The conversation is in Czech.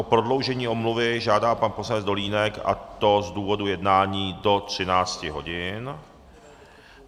O prodloužení omluvy žádá pan poslanec Dolínek, a to z důvodu jednání, do 13 hodin.